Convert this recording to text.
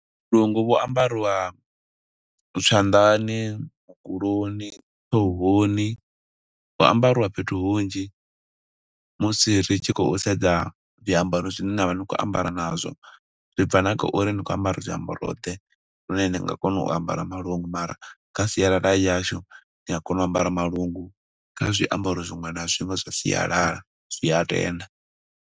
Vhu lungu vhu ambariwa zwanḓani, mukuloni, ṱhohoni. Hu ambariwa fhethu hunzhi, musi ri tshi khou sedza zwiambaro zwine na vha ni khou ambara nazwo. Zwi bva na kha uri ni khou ambara zwiambaro ḓe, lune ni nga kona u ambara malungu, mara kha sialala heyi ya hashu ni a kona u ambara malungu kha zwiambaro zwiṅwe na zwiṅwe zwa sialala. Zwi a tenda.